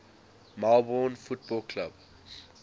melbourne football club